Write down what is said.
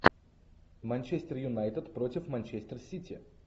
манчестер юнайтед против манчестер сити